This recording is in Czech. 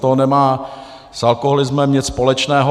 To nemá s alkoholismem nic společného.